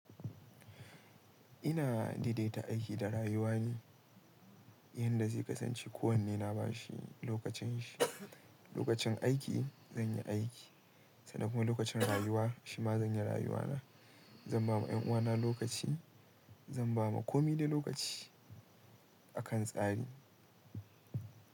Ina daidaita aiki da rayuwa ne, yanda zai kasance ko wanne na bashi lokacin shi. Lokacin aiki zan yi aiki sannan kuma lokacin rayuwa shima zan yi rayuwa na. Zan ba ma 'yan uwana lokaci, zan ba ma komi dai lokaci akan tsari.